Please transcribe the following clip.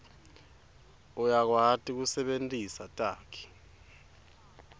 uyakwati kusebentisa takhi